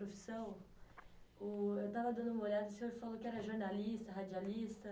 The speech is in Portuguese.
profissão. Uh, eu estava dando uma olhada e o senhor falou que era jornalista, radialista.